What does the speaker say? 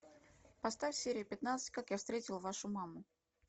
поставь серию пятнадцать как я встретил вашу маму